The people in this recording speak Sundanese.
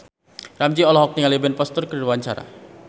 Ramzy olohok ningali Ben Foster keur diwawancara